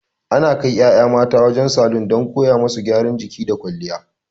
Ana kai ƴaƴa mata wajen salon don koya musu gyaran jiki da kwalliya.